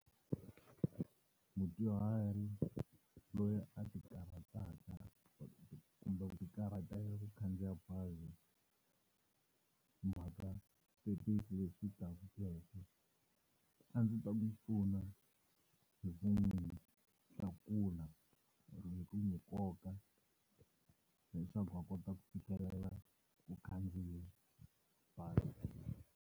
Mudyuhari loyi a ti karhataka kumbe ku ti karhata ku khandziya bazi mhaka switepisi leswi , a ndzi ta n'wi pfuna hi ku n'wi tlakula or-o hi ku n'wi nkoka leswaku va kota ku fikelela u khandziya bazi.